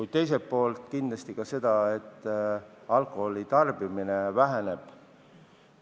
Ja teiselt poolt loodan ka seda, et alkoholi tarbimine väheneb.